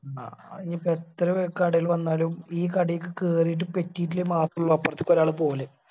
ആ ഇനിയിപ്പോ എത്ര കടകള് വന്നാലും ഈ കടയ്ക്ക് കേറിയിട്ട് പെറ്റിറ്റില്ലേൽ മാത്രേ അപർത്തേക്ക് ഒരാള് പോവല്